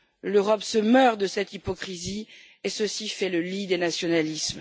L'Europe se meurt de cette hypocrisie et ceci fait le lit des nationalismes.